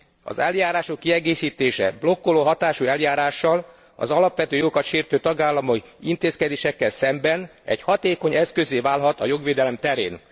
Az eljárások kiegészítése blokkoló hatású eljárással az alapvető jogokat sértő tagállamok intézkedéseivel szemben egy hatékony eszközzé válhat a jogvédelem terén.